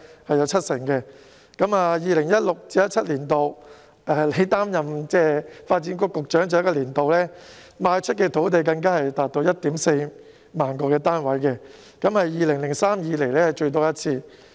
在 2016-2017 年度，亦即他擔任發展局局長的最後一個年度，賣出的土地更足以供應 14,000 個單位，是自2003年以來最多的一次。